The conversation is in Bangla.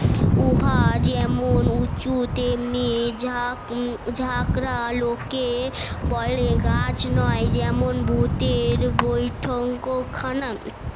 উহা যেমন উচু তেমনি ঝা ঝাঁকড়া লোকে বলে গাছ না যেন ভুতের বইঠঙ্ক খানা